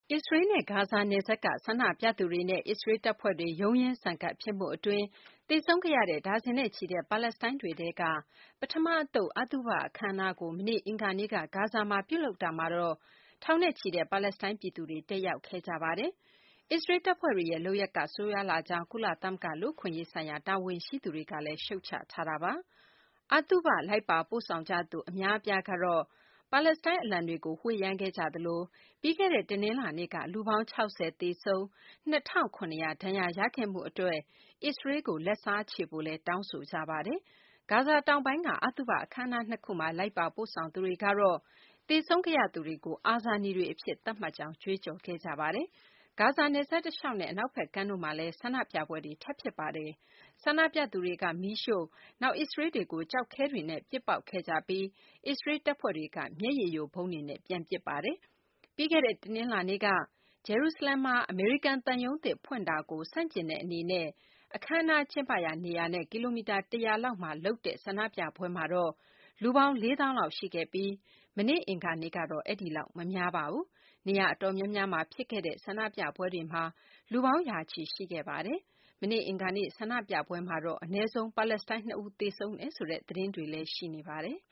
အစ္စရေးနဲ့ ဂါဇာ နယ်စပ်က ဆန္ဒပြသူတွေနဲ့ အစ္စရေးလ် တပ်ဖွဲ့တွေ ရုန်းရင်းဆန်ခတ်ဖြစ်မှု အတွင်း သေဆုံးခဲ့ရတဲ့ ဒါဇင်နဲ့ချီတဲ့ ပါလက်စတိုင်းတွေထဲက ပထမ အသုတ် အသုဘ အခမ်းအနားကို မနေ့ အင်္ဂါနေ့က ဂါဇာမှာ ပြုလုပ်တာမှာတော့ ထောင်နဲ့ချီတဲ့ ပါလက်စတိုင်း ပြည်သူတွေ တက်ရောက်ခဲ့ကြပါတယ်။ အစ္စရေး တပ်ဖွဲ့တွေရဲ့ လုပ်ရပ်က ဆိုးရွားလှကြောင်း ကုလသမဂ္ဂ လူ့အခွင့်အရေးဆိုင်ရာ တာဝန်ရှိသူတွေကလည်း ရှုတ်ချထားပါတယ်။ အသုဘ လိုက်ပါပို့ဆောင်ကြသူ အများအပြားကတော့ ပါလက်စတိုင်း အလံတွေကို ဝှေ့ယမ်းခဲ့ကြသလို ပြီးခဲ့တဲ့ တနလာၤနေ့ က လူပေါင်း ၆၀ သေဆုံး၊ ၂၇၀၀ ဒဏ်ရာရခဲ့မှု အတွက် အစ္စရေးလ်ကို လက်စားချေဖို့လည်း တချို့က တောင်းဆိုခဲ့ကြပါတယ်။ ဂါဇာတောင်ပိုင်းက အသုဘ အခမ်းအနား ၂ ခုမှာ လိုက်ပါပို့ဆောင်သူတွေကတော့ သေဆုံးခဲ့ရသူတွေကို အာဇာနည်တွေ အဖြစ် သတ်မှတ်ကြောင်း ကြွေးကြော်ခဲ့ကြပါတယ်။ ဂါဇာ နယ်စပ် တလျှောက်နဲ့ အနောက်ဘက်ကမ်းတို့မှာလည်း ဆန္ဒပြပွဲတွေ ထပ်ဖြစ်ခဲ့ပါတယ်။ ဆန္ဒပြသူတွေက မီးရှိုှု့၊ နောက်အစ္စရေးလ်တွေကို ကျောက်ခဲတွေနဲ့ ပစ်ပေါက်ခဲ့ကြပြီး အစ္စရေးလ် တပ်ဖွဲ့တွေက မျက်ရည်ယိုဗုံးတွေနဲ့ ပြန်ပစ်ပါတယ်။ ပြီးခဲ့တဲ့ တနလာၤနေ့က ဂျေရုစလင်မှာ အမေရိကန် သံရုံးသစ် ဖွင့်တာကို ဆန့်ကျင်တဲ့ အခမ်းအနား ကျင်းပရာ နေရာနဲ့ ကီလိုမီတာ ၁၀၀ လောက် အဝေးမှာ လုပ်တဲ့ ဆန္ဒပြပွဲမှာတော့ လူပေါင်း ၄ သောင်းလောက် ရှိခဲ့ပြီး မနေ့ အင်္ဂါနေ့ကတော့ အဲဒီလောက် မများပါဘူး။ နေရာ အတော်များများမှာ ဖြစ်ခဲ့တဲ့ ဆန္ဒပြပွဲတွေမှာ လူပေါင်း ရာချီ ရှိခဲ့ပါတယ်။ မနေ့ အင်္ဂါနေ့ ဆန္ဒပြပွဲမှာတော့ အနည်းဆုံး ပါလက်စတိုင်း ၂ ဦး သေဆုံးတယ်ဆိုတဲ့ သတင်းတွေလည်း ရှိနေပါတယ်။